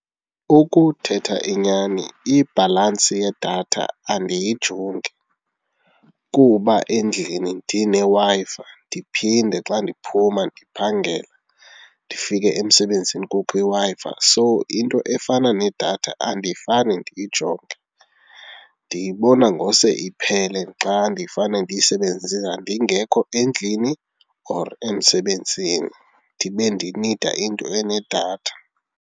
Ukuthetha inyani ibhalansi yedatha andiyijongi kuba endlini ndineWi-Fi ndiphinde xa ndiphuma ndiphangela ndifike emsebenzini kukho iWi-Fi. So into efana nedatha andifane ndiyijonge, ndiyibona ngose iphele xa ndifane ndiyisebenzise ndingekho endlini or emsebenzini ndibe ndinida into enedatha.